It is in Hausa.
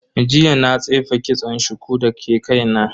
Jiya na tsefe kitson shuku dake kaina.